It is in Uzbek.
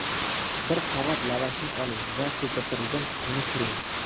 Bir qavat lavashni oling va ko‘pirtirilgan tuxumni suring.